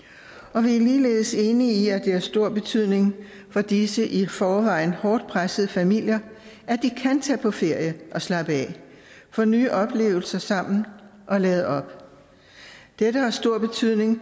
og vi er ligeledes enige i at det har stor betydning for disse i forvejen hårdt pressede familier at de kan tage på ferie og slappe af få nye oplevelser sammen og lade op dette har stor betydning